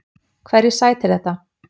Hverju sætir þetta?